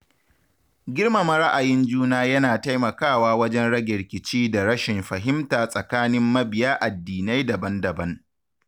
Girmama ra’ayin juna yana taimakawa wajen rage rikici da rashin fahimta tsakanin mabiya addinai daban-daban.